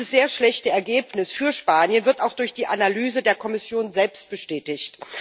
Dieses sehr schlechte Ergebnis für Spanien wird auch durch die Analyse der Kommission selbst bestätigt.